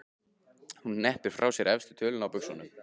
Hún hneppir frá sér efstu tölunni á buxunum.